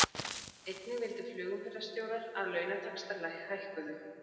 Einnig vildu flugumferðarstjórar að launataxtar hækkuðu